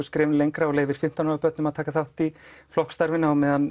skrefinu lengra og leyfir fimmtán ára börnum að taka þátt í flokksstarfinu á meðan